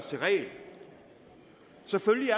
selvfølgelig